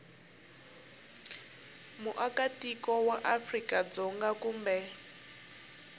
muakatiko wa afrika dzonga kumbe